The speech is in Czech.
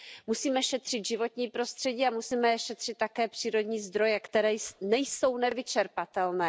Musíme šetřit životní prostředí a musíme šetřit také přírodní zdroje, které nejsou nevyčerpatelné.